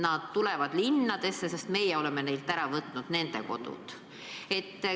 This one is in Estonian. Nad tulevad linnadesse, sest meie oleme neilt nende kodu ära võtnud.